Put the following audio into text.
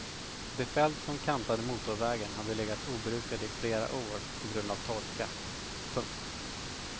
De fält som kantade motorvägen hade legat obrukade i flera år på grund av torka. punkt